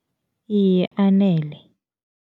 Iye, anele.